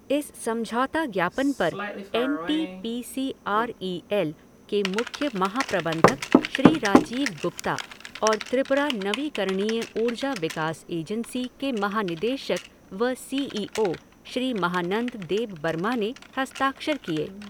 इस समझौता ज्ञापन पर N T P C R E L के मुख्य महाप्रबंधक श्री राजीव गुप्ता और त्रिपुरा नवीकरणीय ऊर्जा विकास एजेंसी के महानिदेशक व C E O Shri Mahanand Debbarma ने हस्ताक्षर किए।